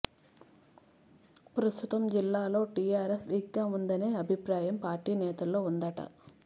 ప్రస్తుతం జిల్లాలో టీఆర్ఎస్ వీక్గా ఉందనే అభిప్రాయం పార్టీ నేతల్లో ఉందట